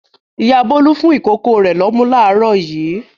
Ìyá Bólú fún ìkókó rẹ̀ lọ́mú láàárọ̀ yìí.